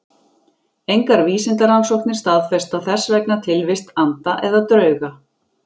Engar vísindarannsóknir staðfesta þess vegna tilvist anda eða drauga.